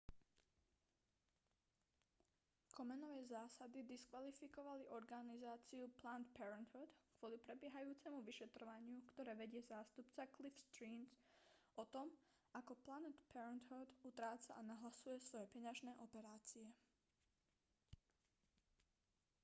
komenovej zásady diskvalifikovali organizáciu planned parenthood kvôli prebiehajúcemu vyšetrovaniu ktoré vedie zástupca cliff stearns o tom ako planned parenthood utráca a nahlasuje svoje peňažné operácie